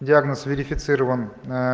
диагноз верифицирован